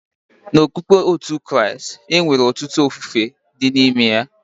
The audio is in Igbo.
N'okukpe ndị otú Kristi, e nwere ọtụtụ ofufe dị n'ime ya